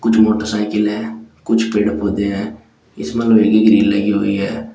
कुछ मोटरसाइकिले है कुछ पेड़ पौधे है इसमे लोहे की ग्रिल लगी हुई है।